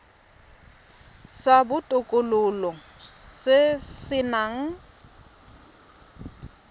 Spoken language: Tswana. sa botokololo se se nang